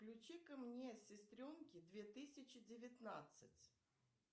включи ка мне сестренки две тысячи девятнадцать